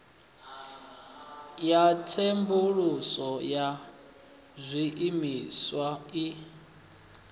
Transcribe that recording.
ya tsenguluso ya zwiimiswa i